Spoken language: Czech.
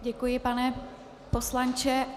Děkuji, pane poslanče.